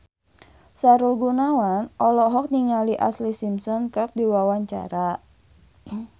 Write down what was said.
Sahrul Gunawan olohok ningali Ashlee Simpson keur diwawancara